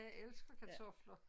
Jeg elsker kartofler